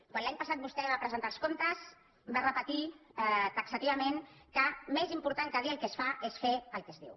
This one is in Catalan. quan l’any passat vostè va presentar els comptes va repetir taxativament que més important que dir el que es fa és fer el que es diu